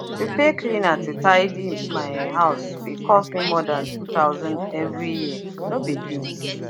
to pay cleaner to tidy my house fit cost more than 2000 every year no be beans